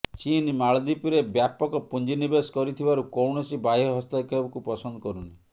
ଚୀନ୍ ମାଳଦ୍ୱୀପରେ ବ୍ୟାପକ ପୁଂଜି ନିବେଶ କରିଥିବାରୁ କୌଣସି ବାହ୍ୟ ହସ୍ତକ୍ଷେପକୁ ପସନ୍ଦ କରୁନି